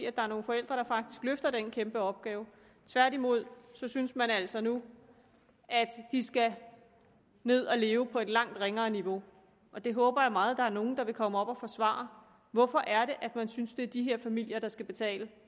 at der er nogle forældre der faktisk løfter den kæmpe opgave tværtimod synes man altså nu at de skal ned og leve på et langt ringere niveau det håber jeg meget at der er nogle der vil komme og forsvare hvorfor er det at man synes det er de her familier der skal betale